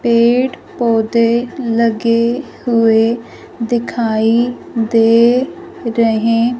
पेड़ पौधे लगे हुए दिखाई दे रहे--